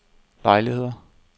lejligheder